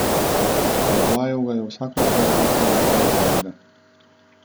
Predvajal ga je vsakokrat, ko sta gledala zvezde.